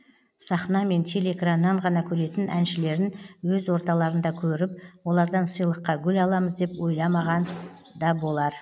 сахна мен телеэкраннан ғана көретін әншілерін өз орталарында көріп олардан сыйлыққа гүл аламыз деп ойламанған да болар